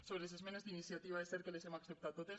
sobre les esmenes d’iniciativa és cert que les hem acceptades totes